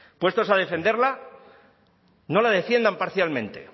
puestos a defenderla no la defiendan parcialmente